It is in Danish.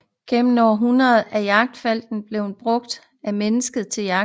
Gennem århundreder er jagtfalken blevet brugt af mennesker til jagt